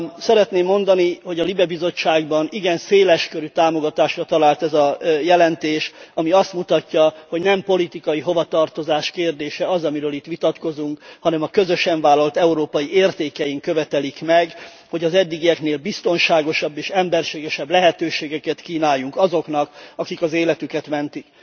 Szeretném mondani, hogy a LIBE bizottságban igen széles körű támogatásra talált ez a jelentés, ami azt mutatja, hogy nem politikai hovatartozás kérdése az, amiről itt vitatkozunk, hanem a közösen vállalt európai értékeink követelik meg, hogy az eddigieknél biztonságosabb és emberségesebb lehetőségeket kínáljunk azoknak, akik az életüket mentik.